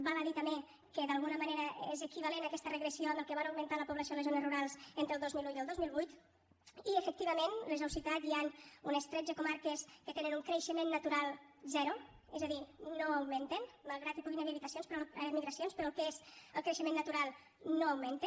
val a dir també que d’alguna manera és equivalent aquesta regressió al que va augmentar la població en les zones rurals entre el dos mil un i el dos mil vuit i efectivament les heu citat hi han unes tretze comarques que tenen un creixement natural zero és a dir no augmenten malgrat que hi puguin haver migracions però el que és el creixement natural no augmenta